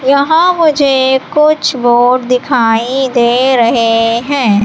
यहां मुझे कुछ बोर्ड दिखाई दे रहे हैं।